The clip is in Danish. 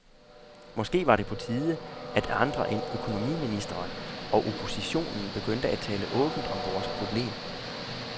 Måske var det på tide, at andre end økonomiministeren og oppositionen begyndte at tale åbent om vores problem.